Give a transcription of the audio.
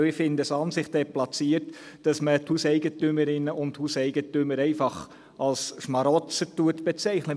Denn ich finde es an sich deplatziert, dass man die Hauseigentümerinnen und Hauseigentümer einfach als Schmarotzer bezeichnet.